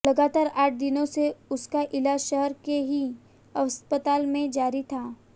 लगातार आठ दिनों से उसका इलाज शहर के ही अस्पताल में जारी था